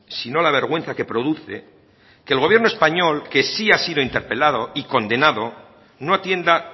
sino la vergüenza que produce que el gobierno español que sí ha sido interpelado y condenado no atienda